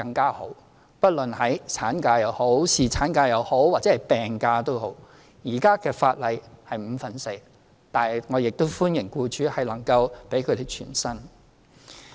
現行法例規定無論法定產假、侍產假或病假，支付的薪酬是五分之四，但我亦歡迎僱主能夠給予僱員全薪。